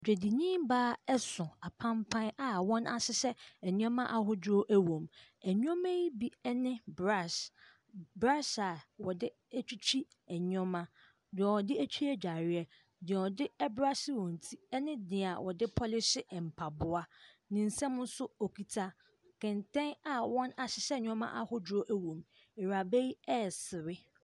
Dwadinibaa ɛso apampan a wɔahyehyɛ nneɛma ahodoɔ wɔ mu. Nneɛma ne bi ne brush, brush a nneɛma, deɛ wɔde twitwi adwareɛ, deɛ wɔde brush wɔn ti, ɛne deɛ wɔde pɔlehye mpaboa. Ne nsa mu nso okita kɛntɛn a wɔahyehyɛ nneɛmɛ ahodoɔ wɔ mu. Awuraba yi ɛresere.